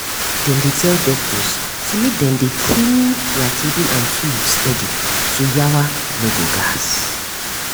dem dey tell doctors say make dem dey clean their table and tools steady so yawa no go gas.